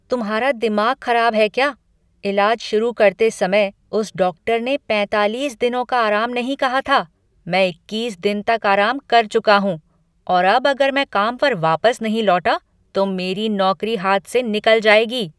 तुम्हारा दिमाग खराब है क्या? इलाज शुरू करते समय उस डॉक्टर ने पैंतालीस दिनों का आराम नहीं कहा था। मैं इक्कीस दिन तक आराम कर चुका हूँ और अब अगर मैं काम पर वापस नहीं लौटा, तो मेरी नौकरी हाथ से निकल जाएगी।